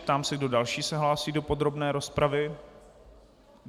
Ptám se, kdo další se hlásí do podrobné rozpravy.